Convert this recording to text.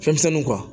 Fɛnmisɛnnuw kan